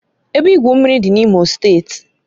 Ebe igwu mmiri dị na Imo steeti